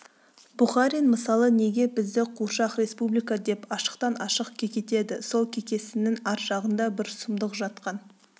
бухарин мысалы неге бізді қуыршақ республика деп ашықтан-ашық кекетеді сол кекесіннің ар жағында бір сұмдық жатқан